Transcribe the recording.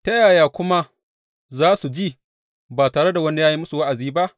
Ta yaya kuma za su ji ba tare da wani ya yi musu wa’azi ba?